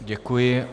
Děkuji.